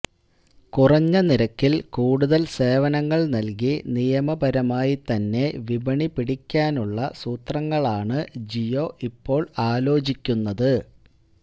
കുറഞ്ഞ നിരക്കില് കൂടുതല് സേവനങ്ങള് നല്കി നിയമപരമായി തന്നെ വിപണി പിടിക്കാനുള്ള സൂത്രങ്ങളാണ് ജിയോ ഇപ്പോള് ആലോചിക്കുന്നത്